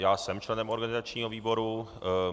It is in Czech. Já jsem členem organizačního výboru.